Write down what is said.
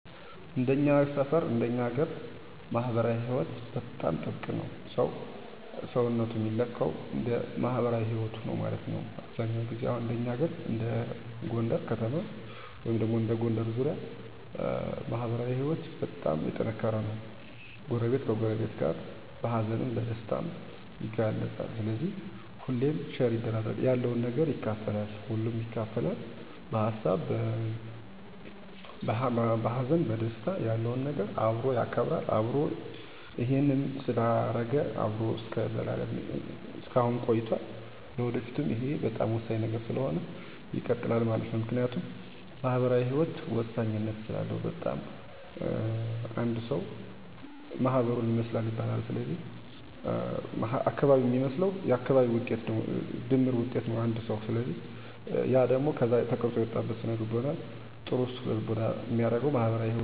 ከጎረቤቶቻችን ጋር ተከባብረን እና ተፋቅረን ነው የምንኖረው ማህበራዊ ኑሮ ላይም በሀዘንም በደስታም ተሳስቦ ተዛዝኖ መኖርን እናውቅበታለን ለምሳሌ በሀዘን ወቅት የሰፈር እድር ተብሎ በሚጠራ ተቋም አንድ ተወካይ ሰው ስለ አረፈ ሰው ማንነት እና መች እንዳረፉ በዝርዝር በመናገር ጡሩምባ ይዞ በየሰፈሩ እየዞረ የሰፈሩ ሰው እንዲሰማ እና እንዲቀብር ይለፍፋል ከዛም ሰው በየጎረቤቱ እየተጠራራ ሄደው ያረፈውን ሰው ቤተሰብ በማገዝ አበሮ በማዘን ቀብረው ይመለሳሉ ከዛም ቀን ጀምሮ በእድሩም ይሁን በግል አየሄዱ ማስተዛዘን ብቸኝነት እንዳይሰማም አብሮ እያጫወቱ በማደር ሀዘን እንዳይበረታ ያስተዛዝናሉ ማህበረሰባዊ ኑሮችን ከብዙ በጥቂቱ ይህን ይመስላል